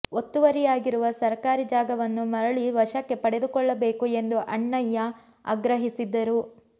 ಒತ್ತುವರಿಯಾಗಿರುವ ಸರಕಾರಿ ಜಾಗವನ್ನು ಮರಳಿ ವಶಕ್ಕೆ ಪಡೆದುಕೊಳ್ಳಬೇಕು ಎಂದು ಅಣ್ಣಯ್ಯ ಆಗ್ರಹಿಸಿದರು